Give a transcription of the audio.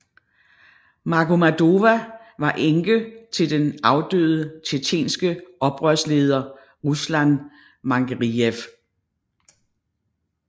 Magomadova var enke til den afdøde tjetjenske oprørsleder Ruslan Mangeriyev